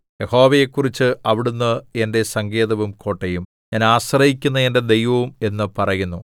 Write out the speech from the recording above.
യഹോവയെക്കുറിച്ച് അവിടുന്ന് എന്റെ സങ്കേതവും കോട്ടയും ഞാൻ ആശ്രയിക്കുന്ന എന്റെ ദൈവവും എന്ന് പറയുന്നു